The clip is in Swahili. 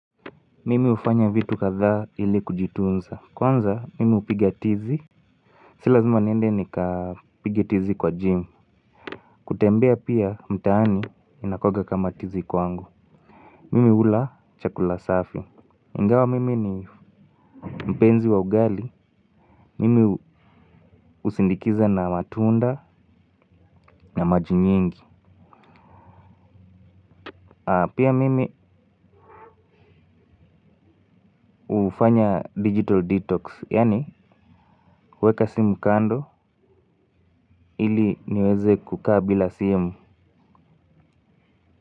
Mimi hufanya vitu kadhaa ili kujitunza, kwanza mimi hupiga tizi zii lazima niende nikapige tizi kwa jimu. Kutembea pia mtaani inakuanga kama tizi kwangu. Mimi ula chakula safi. Ingawa mimi ni mpenzi wa ugali mimi husindikiza na matunda na maji nyingi. Pia mimi hufanya 'digital detox' yaani uweka simu kando, ili niweze kukaa bila simu.